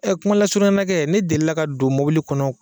kuma lasurunya ma kɛ, ne delila ka don mɔbili kɔnɔ